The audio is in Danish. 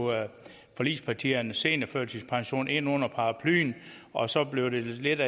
forligspartierne seniorførtidspensionen ind under paraplyen og så blev det lidt